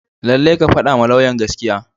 Lallai ka fadawa lauyan gaskiya.